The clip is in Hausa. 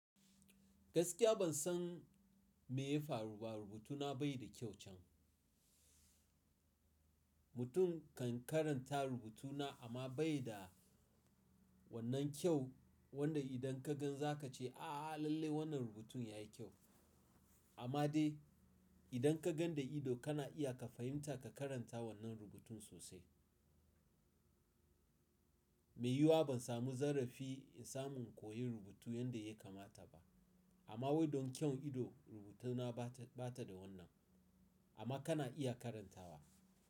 Gaskiya ban san me ya faru ba rubutuna bai da kyau can. Mutum kan karanta rubutuna amma bai da wannan kyau wanda idan ka gan za ka ce aaaa lalle wannan rubutun ya yi kyau. Amma dai idan ka gan da ido kana iya ka fahimta ka karanta wannan rubutun sosai. Me yiwuwa ban samu zarrafi in samu in koyi rubutu yanda ya kamata ba. Amma wai don kyau ido rubutuna bata, bata da wannan. Amma kana iya karantawa.